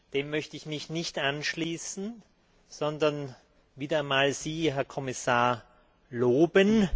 Dem möchte ich mich nicht anschließen, sondern wieder einmal Sie, Herr Kommissar, loben.